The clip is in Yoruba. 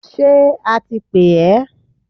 Ṣé a ti pè ẹ?